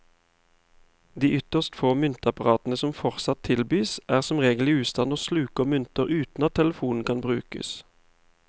De ytterst få myntapparatene som fortsatt tilbys, er som regel i ustand og sluker mynter uten at telefonen kan brukes.